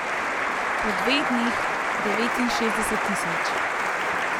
Po dveh dneh devetinšestdeset tisoč.